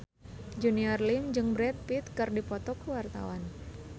Junior Liem jeung Brad Pitt keur dipoto ku wartawan